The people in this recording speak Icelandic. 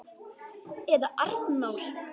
Eða Arnór!